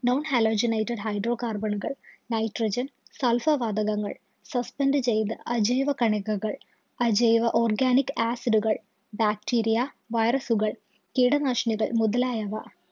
. non halogenide hydro carbon ഉകള്‍, nytrogen, sulpher വാതകങ്ങള്‍, suspent ചെയ്ത അജൈവ കണികകള്‍, അജൈവ organic acid ഉകള്‍, bacteria, virus ഉകള്‍, കീടനാശിനികള്‍ മുതലായവ